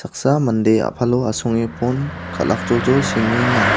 saksa mande a·palo asonge pon kal·akjoljol sengenga.